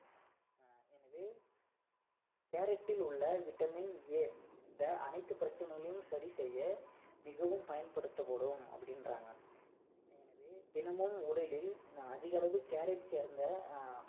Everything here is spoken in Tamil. அடுத்தது carrot ல் உள்ள vitamin A இந்த அனைத்து பிரச்சனைகளையும் சரி செய்ய மிகவும் பயன்படுத்தப்படும் அப்படின்றாங்க அஹ் அதாவது தினமும் உடலில் அதிக அளவு carrot சேர்ந்த